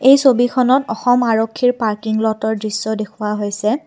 এই ছবিখনত অসম আৰক্ষীৰ পাৰ্কিং ল'তৰ দৃশ্য দেখুওৱা হৈছে।